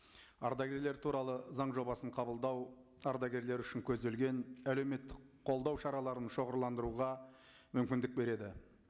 ардагерлер туралы заң жобасын қабылдау ардагерлер үшін көзделген әлеуметтік қолдау шараларын шоғырландыруға мүмкіндік береді